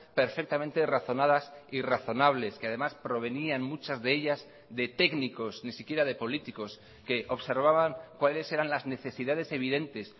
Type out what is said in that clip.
perfectamente razonadas y razonables que además provenían muchas de ellas de técnicos ni siquiera de políticos que observaban cuáles eran las necesidades evidentes